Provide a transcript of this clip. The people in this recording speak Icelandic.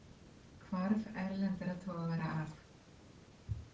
Hvarf erlendra togara af